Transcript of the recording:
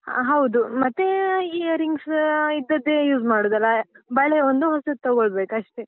ಹ ಹೌದು ಮತ್ತೇ earrings ಇದ್ದದ್ದೇ use ಮಾಡುದಲ್ಲ, ಬಳೆ ಒಂದು ಹೊಸತ್ ತೊಗೊಳ್ಬೇಕಷ್ಟೆ.